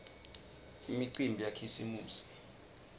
imicimbi yakhisimusi